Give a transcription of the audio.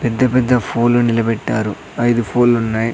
పెద్ద పెద్ద ఫోల్లు నిలబెట్టారు ఐదు ఫోల్లు ఉన్నాయి.